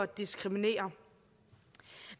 diskriminere